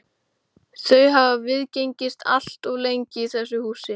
Þau hafa viðgengist allt of lengi í þessu húsi.